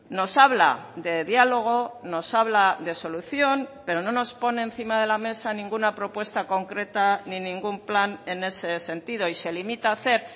nos habla de diálogo nos habla de solución pero no nos pone encima de la mesa ninguna propuesta concreta ni ningún plan en ese sentido y se limita a hacer